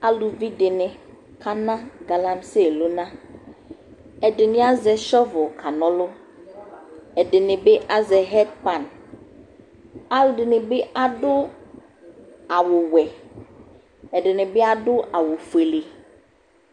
Aluvi dɩnɩ kana galamiselʋna Ɛdɩnɩ azɛ sɔvʋ kana ɔlʋ Ɛdɩnɩ bɩ azɛ ɛrpan Alʋɛdɩnɩ bɩ adʋ awʋwɛ, ɛdɩnɩ bɩ adʋ awʋfuele